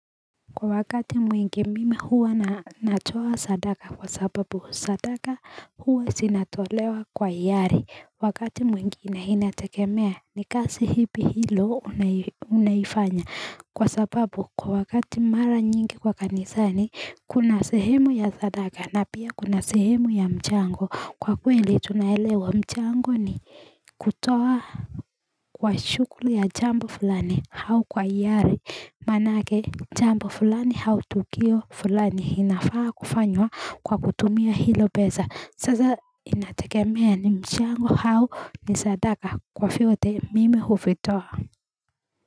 Kwa wakati mwingi mimi huwa natoa sadaka kwa sababu sadaka huwa sinatolewa kwa ihari wakati mwingine inategemea ni kasi hipi hilo unaifanya kwa sababu kwa wakati mara nyingi kwa kanisa ni kuna sehemu ya sadaka na pia kuna sehemu ya mchango kwa kweli tunaelewa mchango ni kutoa Kwa shuguli ya jambo fulani au kwa ihari manake jambo fulani au tukio fulani inafaa kufanywa kwa kutumia hilo pesa sasa inategemea ni mchango hau ni sadaka kwa vyote mimi huvitoa.